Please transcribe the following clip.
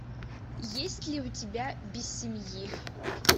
есть ли у тебя без семьи